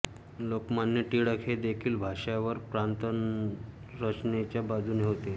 लोकमान्य टिळक हे देखील भाषावर प्रांतरचनेच्या बाजूने होते